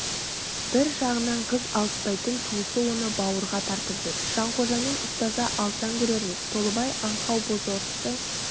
бір жағынан қыз алыспайтын туысы оны бауырға тартып жүр жанқожамен ұстаса алсаң көрерміз толыбай аңқау бозорысты